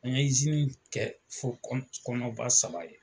An ye kɛ fo kɔnɔnba saba ye